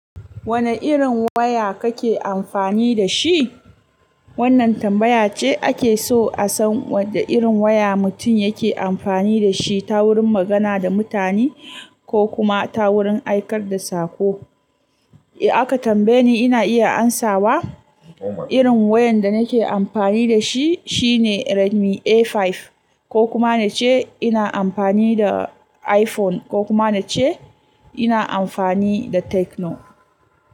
Wane irin waya kake amfani da shi? Wannan tambaya ce ake so a san wane irin waya mutum yake amfani da shi ta wurin magana da mutane ko kuma ta wurin aikar da saƙo. Eh aka tambaye ni ina iya amsawa. Irin wayan da nake amfani da shi shine Redmi A5 ko kuma na ce ina amfani da iPhone ko kuma na ce ina amfani da Tecno.